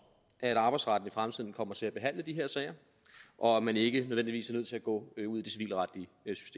at at arbejdsretten i fremtiden kommer til at behandle de her sager og at man ikke nødvendigvis er nødt til at gå ud